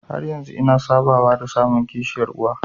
Har yanzu ina sabawa da samun kishiyar uwa.